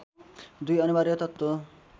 दुई अनिवार्य तत्त्व